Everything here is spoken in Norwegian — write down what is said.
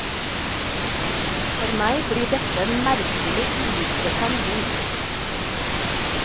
For meg blir dette en merkelig uinteressant bok.